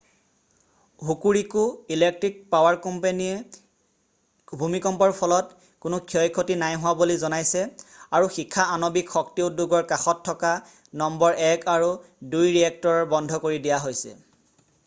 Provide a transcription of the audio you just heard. Hokuriku electric power কোম্পানীয়ে ভূমিকম্পৰ ফলত কোনো ক্ষয় ক্ষতি নাইহোৱা বুলি জনাইছে আৰু শিখা আণৱিক শক্তি উদ্যোগৰ কাষত থকা নম্বৰ 1 আৰু 2 ৰিয়েক্টৰ বন্ধ কৰি দিয়া হৈছে